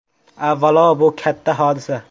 Avvalo, bu katta hodisa.